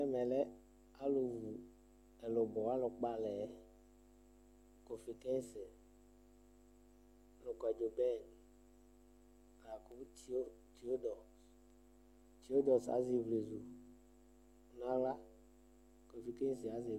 Ɛmɛ lɛ alu vu ɛlubɔ alu kpɔ alɛ kɔfetɛsi nu kɔdzoben la ku tuyodɔs Tuyodɔs azɛ ivlezu nu aɣla kofetɛsi azɛ